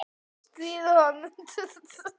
Eiga þeir þá nokkra von.